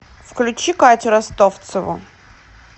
включи катю ростовцеву